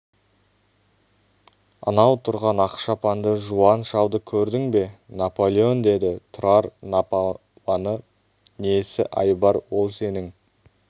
анау тұрған ақ шапанды жуан шалды көрдің бе наполеон деді тұрар напаланы несі айбар ол сенің